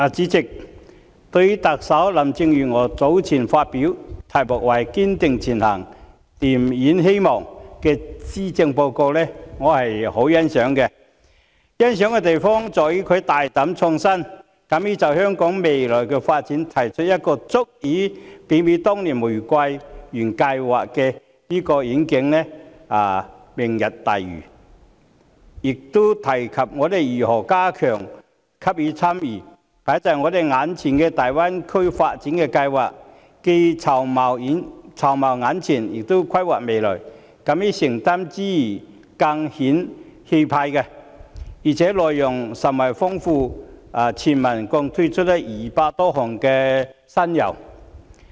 代理主席，對於特首林鄭月娥早前發表題為"堅定前行燃點希望"的施政報告，我是十分欣賞的，欣賞的地方在於她大膽創新，敢於就香港未來的發展提出一個足以媲美當年玫瑰園計劃的願景——"明日大嶼"，亦提及我們如何加強參與放在我們眼前的大灣區發展計劃，既籌謀眼前，亦規劃未來，敢於承擔之餘，更顯氣魄，而且內容甚為豐富，全文共推出200多項新猷。